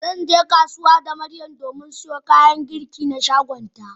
Zan je kasuwa da Miriam don siyo kayan girki na sabon shagonta.